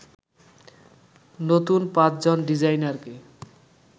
নতুন ৫ জন ডিজাইনারকে